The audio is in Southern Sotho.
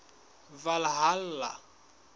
valhalla